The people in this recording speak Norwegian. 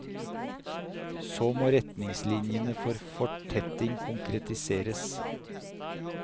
Så må retningslinjene for fortetting konkretiseres.